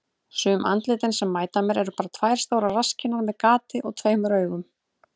Sum andlitin sem mæta mér eru bara tvær stórar rasskinnar með gati og tveimur augum.